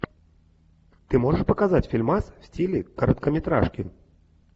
ты можешь показать фильмас в стиле короткометражки